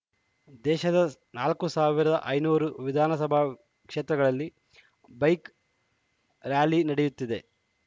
ದೇಶದ ನಾಲ್ಕ್ ಸಾವಿರದ ಐದುನೂರು ವಿಧಾನಸಭಾ ಕ್ಷೇತ್ರಗಳಲ್ಲಿ ಬೈಕ್‌ ರ್ಯಲಿ ನಡೆಯುತ್ತಿದೆ